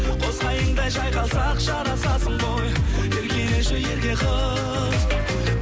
қос қайыңдай жайқалсақ жарасасың ғой еркелеші ерке қыз